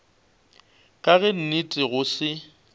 ka ge nnete go se